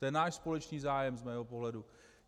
To je náš společný zájem z mého pohledu.